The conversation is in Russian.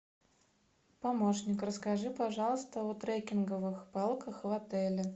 помощник расскажи пожалуйста о трекинговых палках в отеле